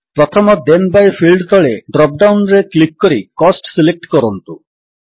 ପ୍ରଥମ then by field ତଳେ drop down ରେ କ୍ଲିକ୍ କରି କୋଷ୍ଟ ସିଲେକ୍ଟ କରନ୍ତୁ